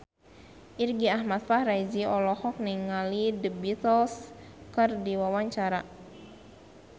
Irgi Ahmad Fahrezi olohok ningali The Beatles keur diwawancara